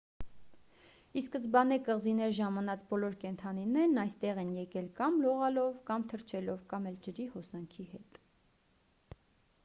ի սկզբանե կղզիներ ժամանած բոլոր կենդանիներն այստեղ են եկել կամ լողալով կամ թռչելով կամ էլ ջրի հոսանքի հետ